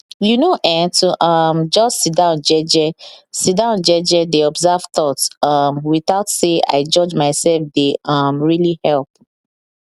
you know[um]to um just sidon jeje sidon jeje dey observe thoughts um without say i judge myself dey um really help